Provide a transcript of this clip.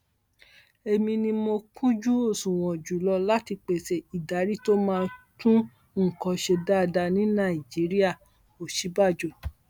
èmi ni mo kúnjú òṣùwọn jù lọ láti pèsè ìdarí tó máa tún nǹkan ṣe dáadáa ní nàìjíríà òsínbàjò